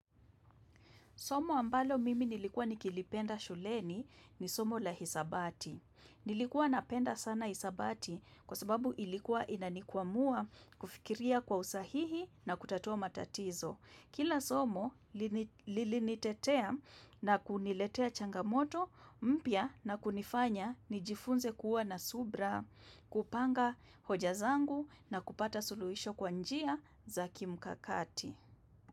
Somo ambalo mimi nilikua nikilipenda shuleni, ni somo la hisabati. Nilikuwa napenda sana hisabati, kwa sababu ilikuwa inanikwamua, kufikiria kwa usahihi na kutatua matatizo. Kila somo lili nitetea na kuniletea changamoto mpya na kunifanya nijifunze kuwa na subra, kupanga hoja zangu na kupata suluhisho kwa njia za kimkakati.